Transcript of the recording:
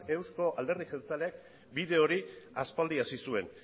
euzko alderdi jeltzaleak bide hori aspaldi hasi zuen